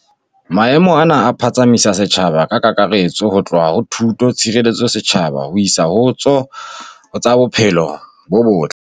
Maemo ana a phatsamisa setjhaba ka kakaretso ho tloha ho tsa thuto, tshireletso ya setjhaba ho isa ho tsa bophelo bo botle.